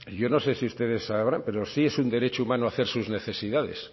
yo no sé si ustedes sabrán pero sí es un derecho humano hacer sus necesidades